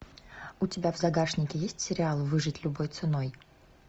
у тебя в загашнике есть сериал выжить любой ценой